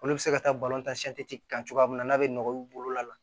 Olu bɛ se ka taa kan cogoya min na n'a bɛ nɔgɔya u bolo la